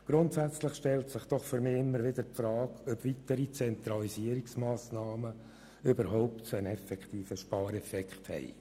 Grundsätzlich stellt sich für mich immer wieder die Frage, ob weitere Zentralisierungsmassnahmen einen effektiven Spareffekt haben.